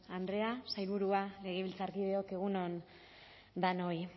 andrea sailburua legebiltzarkideok egun on denoi